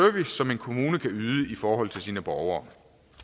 som en kommune kan yde i forhold til sine borgere